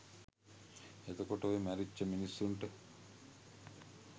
එතකොට ඔය මැරිච්ච මිනිස්සුන්ට